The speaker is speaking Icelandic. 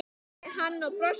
spurði hann og brosti.